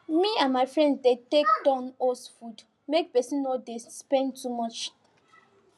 ma and my friends dey take turn host food make person no dey spend too much